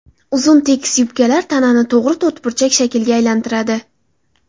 Uzun tekis yubkalar tanani to‘g‘ri to‘rtburchak shaklga aylantiradi.